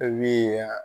E min ye yan